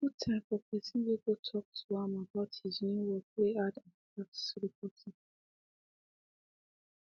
he put time for person way go talk to am about his new work way add at tax reporting